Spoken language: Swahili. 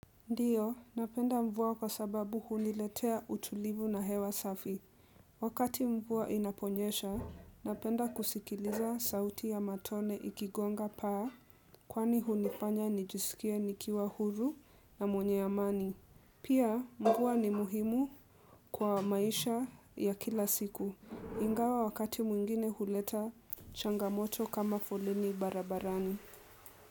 Ndiyo, napenda mvua kwa sababu huniletea utulivu na hewa safi. Wakati mvua inaponyesha, napenda kusikiliza sauti ya matone ikigonga paa. Kwani hunifanya nijisikie nikiwa huru na mwenye amani. Pia, mvuwa ni muhimu kwa maisha ya kila siku. Ingawa wakati mwingine huleta changamoto kama foleni barabarani.